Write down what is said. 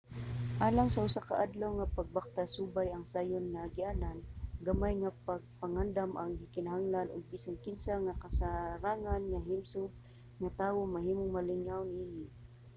alang sa usa ka adlaw nga pagbaktas subay ang sayon nga agianan gamay nga pagpangandam ang gikinahanglan ug bisan kinsa nga kasarangan nga himsog nga tawo mahimong malingaw niini